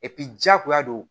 diyagoya don